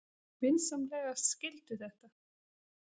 Vinsamlegast skildu þetta.